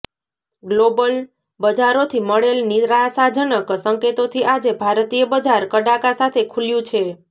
global બજારોથી મળેલ નિરાશાજનક સંકેતોથી આજે ભારતીય બજાર કડાકા સાથે ખુલ્યું છે